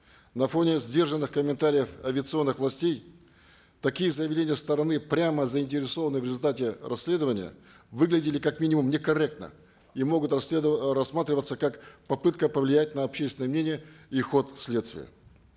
на фоне сдержанных комментариев авиационных властей такие заявления стороны прямо заинтересованной в результате расследования выглядели как минимум некорректно и могут э рассматриваться как попытка повлиять на общественное мнение и ход следствия